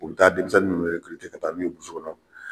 U bi taa denmisɛnni nunnu ka taa n'u ye kɔnɔ